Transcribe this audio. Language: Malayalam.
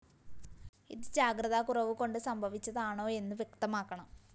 ഇത് ജാഗ്രതാ കുറവ് കൊണ്ട് സംഭവിച്ചതാണോയെന്ന് വ്യക്തമാക്കണം